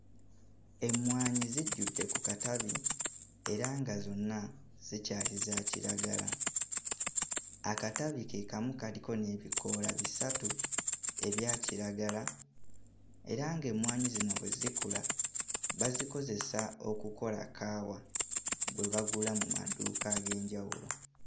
Emmwanyi zijjudde ku katabi era nga zonna zikyali za kiragala, akatabi ke kamu kaliko n'ebikoola bisatu ebya kiragala era ng'emmwanyi zino bwe zikula bazikozesa okukola kaawa gwe bagula mu maduuka ag'enjawulo.